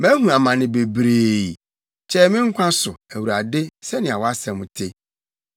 Mahu amane bebree; kyɛe me nkwa so, Awurade, sɛnea wʼasɛm te.